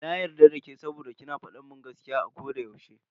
Na yarda dake saboda ki na fadin gaskiya a koda yaushe.